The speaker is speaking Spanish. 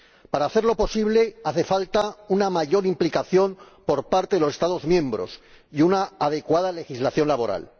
Para hacerlo posible hacen falta una mayor implicación por parte de los Estados miembros y una adecuada legislación laboral.